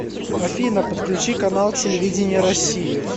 афина подключи канал телевидения россию